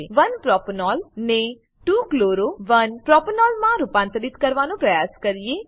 ચાલો હવે 1 પ્રોપેનોલ ને 2 chloro 1 પ્રોપેનોલ માં રૂપાંતરિત કરવાનો પ્રયાસ કરીએ